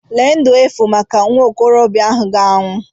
Lee ndu efu maka nwa okorobịa ahụ ga-anwụ.